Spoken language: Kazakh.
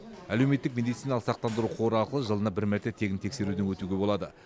әлеуметтік медициналық сақтандыру қоры арқылы жылына бір мәрте тегін тексеруден өтуге болады